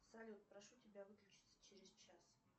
салют прошу тебя выключиться через час